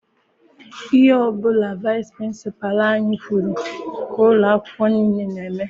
Ihe ọbụla vaịsị pịrịnsịpalụ anyị kwụrụ ka ụlọ akwụkwọ nile n'eme.